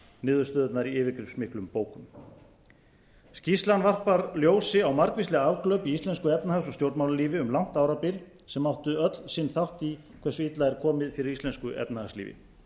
niðurstöðurnar í yfirgripsmiklum bókum skýrslan varpar ljósi á margvísleg afglöp í íslensku efnahags og stjórnmálalífi um langt árabil sem áttu öll sinn þátt í hversu illa er komið fyrir íslensku efnahagslífi